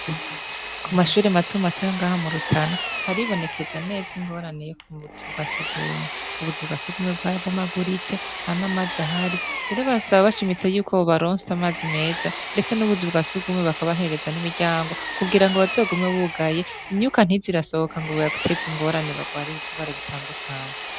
Kumashure matomato yo ngaha murutana haribonekeza neza ingorane yubuzu bwa sugume ubuzu bwasugume bwarabomaguritse eka ntanamazi ahari barasaba bashimitse babaronse amazi meza ndetse nubuzu bwasugume bakabahereza nimiryango kugirango bazogume bugaye imyubaka ntize irasohoka ngo ibateze ingorane barware ibirwara bitandukanye